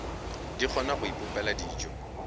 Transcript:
di kgona go ipopela dijo